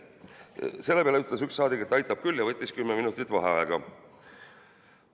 " Selle peale ütles üks saadik, et aitab küll, ja võttis kümme minutit vaheaega.